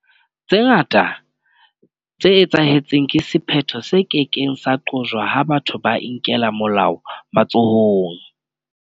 Tse ngata tse etsahetseng ke sephetho se ke keng sa qojwa ha batho ba inkela molao matsohong.